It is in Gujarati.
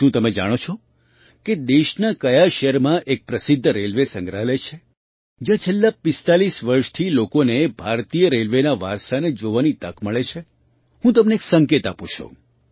શું તમે જાણો છો કે દેશના કયા શહેરમાં એક પ્રસિદ્ધ રેલવે સંગ્રહાલય છે જ્યાં છેલ્લાં ૪૫ વર્ષથી લોકોને ભારતીય રેલવેના વારસાને જોવાની તક મળે છે હું તમને એક સંકેત આપું છું